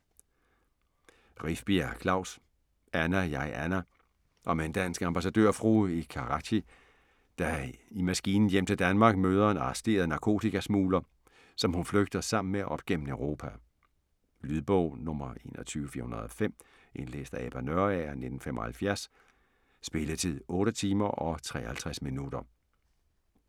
Rifbjerg, Klaus: Anna (jeg) Anna Om en dansk ambassadørfrue i Karachi, der i maskinen hjem til Danmark møder en arresteret narkotikasmugler, som hun flygter sammen med op gennem Europa. Lydbog 21405 Indlæst af Ebba Nørager, 1975. Spilletid: 8 timer, 53 minutter.